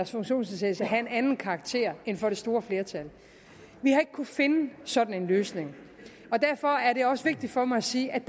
funktionsnedsættelse har en anden karakter end for det store flertal vi har ikke kunnet finde en sådan løsning og derfor er det også vigtigt for mig at sige at